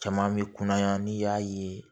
Caman bɛ kunna n'i y'a ye